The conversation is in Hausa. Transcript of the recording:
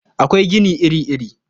Akwai gini iri-iri.